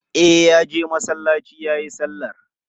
E, ya je masallaci ya yi sallar.